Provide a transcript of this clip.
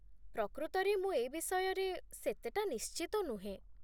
ପ୍ରକୃତରେ ମୁଁ ଏ ବିଷୟରେ ସେତେଟା ନିଶ୍ଟିତ ନୁହେଁ ।